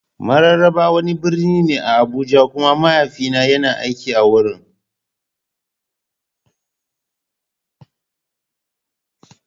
Mararaba wani birni ne a Abuja kuma mahaifina yana aiki a wurin.